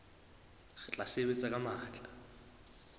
re tla sebetsa ka matla